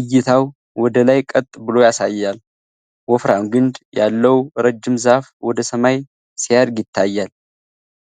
እይታው ወደ ላይ ቀጥ ብሎ ያሳያል። ወፍራም ግንድ ያለው ረጅም ዛፍ ወደ ሰማይ ሲያድግ ይታያል።